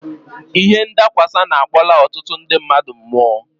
Ihe nadakwasa na-akpọla ọtụtụ ndị mmadụ mụọ.